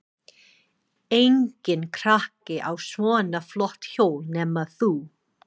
Enginn krakki á svona flott hjól nema þú.